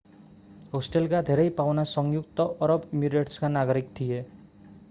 होस्टलका धेरै पाहुना संयुक्त अरब इमिरेट्सका नागरिक थिए